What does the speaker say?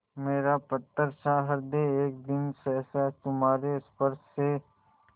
मेरा पत्थरसा हृदय एक दिन सहसा तुम्हारे स्पर्श से